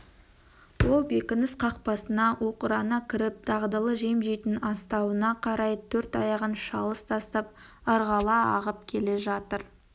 ол бекініс қақпасына оқырана кіріп дағдылы жем жейтін астауына қарай төрт аяғын шалыс тастап ырғала ағып келе жатыр